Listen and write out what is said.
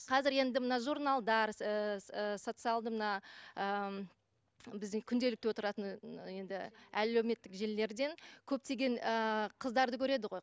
қазір енді мына журналдар ыыы социалды мына ы біздің күнделікті отыратын енді әлеуметтік желілерден көптеген ыыы қыздарды көреді ғой